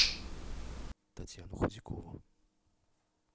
татьяну худякову